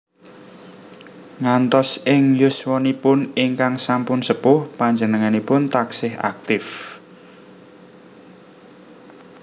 Ngantos ing yuswanipun ingkang sampun sepuh panjenenganipun taksih aktif